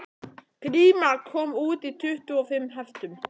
Gríma kom út í tuttugu og fimm heftum